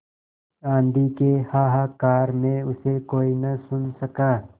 आँधी के हाहाकार में उसे कोई न सुन सका